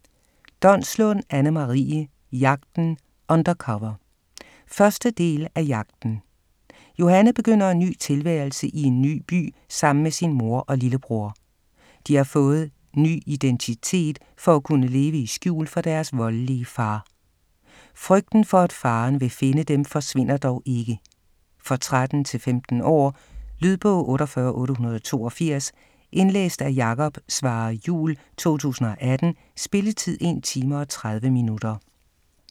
Donslund, Anne-Marie: Jagten - undercover 1. del af Jagten. Johanne begynder en ny tilværelse i en ny by sammen med sin mor og lillebror. De har fået ny identitet for at kunne leve i skjul for deres voldelige far. Frygten for, at faren vil finde dem, forsvinder dog ikke. For 13-15 år. Lydbog 48882 Indlæst af Jakob Svarre Juhl, 2018. Spilletid: 1 time, 30 minutter.